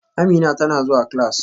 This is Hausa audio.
Amina tana zuwa class